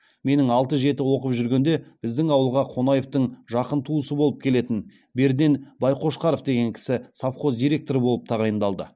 менің алты жеті оқып жүргенде біздің ауылға қонаевтың жақын туысы болып келетін берден байқошқаров деген кісі совхоз директоры болып тағайындалды